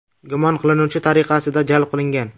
gumon qilinuvchi tariqasida jalb qilingan.